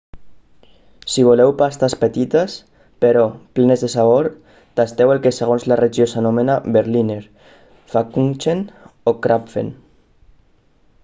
si voleu pastes petites però plenes de sabor tasteu el que segons la regió s'anomena berliner pfannkuchen o krapfen